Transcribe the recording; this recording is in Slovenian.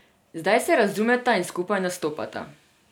Zdaj se razumeta in skupaj nastopata ...